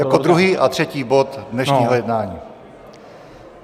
Jako druhý a třetí bod dnešního jednání?